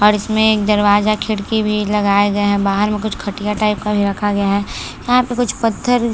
और इसमें एक दरवाज़ा खिड़की भी लगाया गया है बाहर में कुछ खटिया टाइप का भी रखा गया है यहाँ पे कुछ पत्थर--